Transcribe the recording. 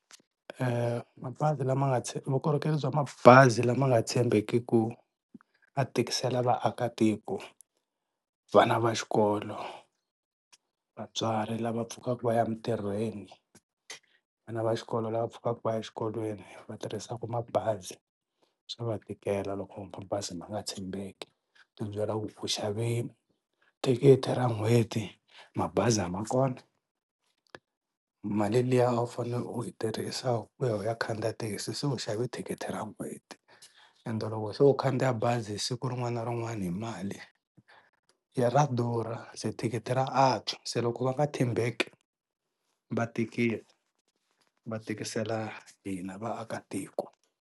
Mabazi lama nga vukorhokeri bya mabazi lama nga tshembekeki a tikisela vaakatiko, vana va xikolo, vatswari lava pfukaka va ya emintirhweni, vana va xikolo lava pfukaka va ya exikolweni va tirhisaka mabazi swa va tikela loko mabazi ma nga tshembeki. u xave tikithi ra n'hweti, mabazi a ma kona, mali liya a wu fanele u yi tirhisa ku ya u ya khandziya thekisi se u xave thikithi ra n'hweti ende loko se u khandziya bazi hi siku rin'wana na rin'wana hi mali ya ra durha se thikithi ra antswa se loko va nga tshembeki va tikisa va tikisela hina vaakatiko.